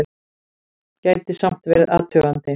Gæti samt verið athugandi!